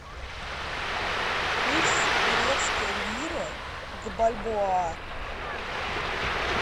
курс турецкой лиры к бальбоа